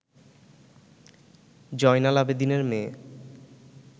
জয়নাল আবেদীনের মেয়ে